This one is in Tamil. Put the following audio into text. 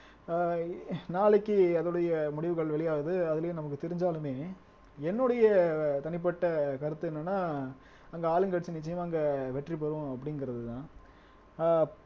ஆஹ் நாளைக்கு அதோடைய முடிவுகள் வெளியாகுது அதிலேயும் நமக்கு தெரிஞ்சாலுமே என்னுடைய தனிப்பட்ட கருத்து என்னன்னா அங்க ஆளுங்கட்சி நிச்சயம் அங்க வெற்றி பெறும் அப்படிங்கறதுதான் ஆஹ்